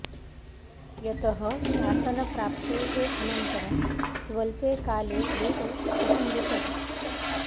यतः शासनप्राप्तेः अनन्तरं स्वल्पे काले एव सः मृतः